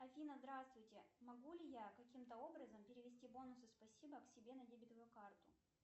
афина здравствуйте могу ли я каким то образом перевести бонусы спасибо к себе на дебетовую карту